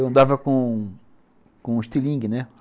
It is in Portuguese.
Eu andava com com estilingue, né?